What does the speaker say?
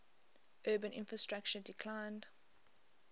urban infrastructure declined